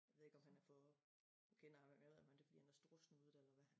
Ved ikke om han er for nu kender jeg ham jo ikke men det fordi han er storsnudet eller hvad